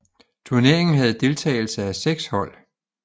Turneringen havde deltagelse af 6 hold